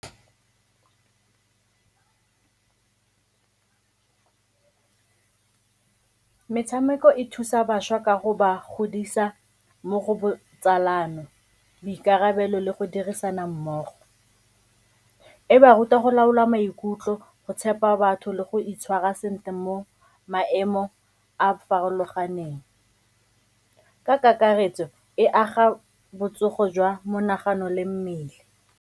Metshameko e thusa bašwa ka go ba godisa mo go botsalano, boikarabelo le go dirisana mmogo. E ba ruta go laola maikutlo, go tshepa batho le go itshwara sentle mo maemo a a farologaneng. Ka kakaretso, e aga botsogo jwa monagano le mmele.